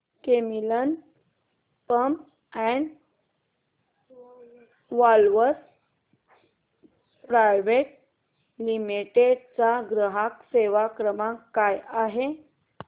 Camlin pumps and valves private limited चा ग्राहक सेवा क्रमांक काय आहे